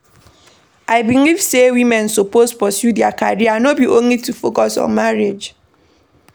I believe sey women suppose pursue their career no be only to focus on marriage.